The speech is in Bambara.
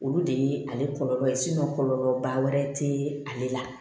Olu de ye ale kɔlɔlɔ kɔlɔlɔba wɛrɛ te ale la